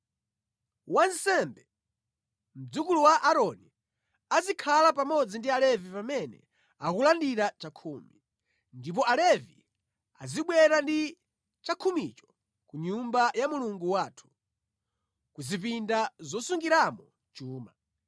Wansembe, mdzukulu wa Aaroni azikhala pamodzi ndi Alevi pamene akulandira chakhumi. Ndipo Alevi azibwera ndi chakhumicho ku nyumba ya Mulungu wathu, kuzipinda zosungiramo chuma.”